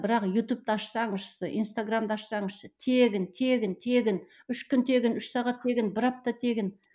бірақ ютубты ашссаң іші инстаграмды ашсаң іші тегін тегін тегін үш күн тегін үш сағат тегін бір апта тегін